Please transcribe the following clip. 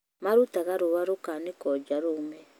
Marutaga rũa rũkaanĩkũo nja rũume